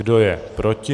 Kdo je proti?